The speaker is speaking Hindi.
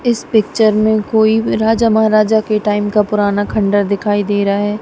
इस पिक्चर में कोई भी राजा महाराजा के टाइम का पुराना खंडहर दिखाई दे रहा है।